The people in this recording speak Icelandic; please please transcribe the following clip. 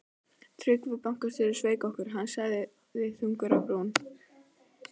Tryggvi bankastjóri sveik okkur, sagði hann þungur á brún.